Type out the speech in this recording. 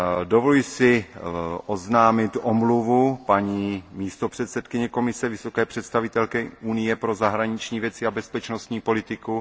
Dovoluji si oznámit omluvu místopředsedkyně Komise, vysoké představitelky Unie pro zahraniční věci a bezpečnostní politiku.